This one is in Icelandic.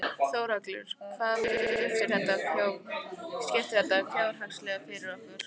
Þórhallur: Hvaða máli skiptir þetta fjárhagslega fyrir okkur?